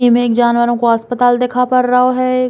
इमें एक जानवरो को अस्पताल दिखा पर रओ है।